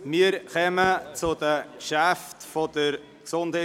Wir kommen zu den Geschäften der GEF.